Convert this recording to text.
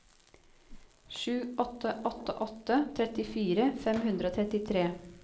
sju åtte åtte åtte trettifire fem hundre og trettitre